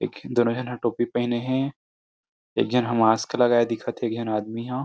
इक दोनों झन ह टोपी पहने हे एक झन ह मास्क लगाय दिखत थे एक झन आदमी ह।